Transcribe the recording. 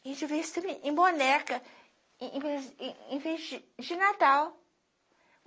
A gente vê isso também em boneca, e e em enfeite de natal